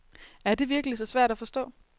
Er det virkelig så svært at forstå?